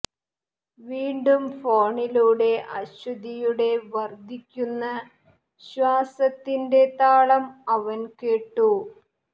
വീണ്ടും ഫോണിലൂടെ അശ്വതിയുടെ വര്ദ്ധിക്കുന്ന ശ്വാസത്തിന്റെ താളം അവന് കേട്ടു